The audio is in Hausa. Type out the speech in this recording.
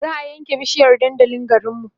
za'a ƴan ke bishiyar dandalin garinmu